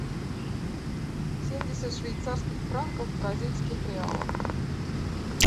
семьдесят швейцарских франков в бразильских реалах